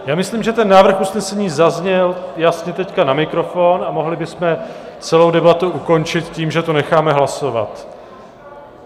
Já myslím, že ten návrh usnesení zazněl jasně teď na mikrofon a mohli bychom celou debatu ukončit tím, že to necháme hlasovat.